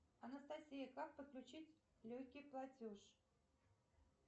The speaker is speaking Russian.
анастасия как подключить легкий платеж